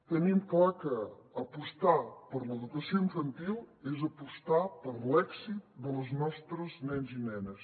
tenim clar que apostar per l’educació infantil és apostar per l’èxit dels nostres nens i nenes